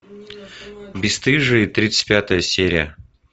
бесстыжие тридцать пятая серия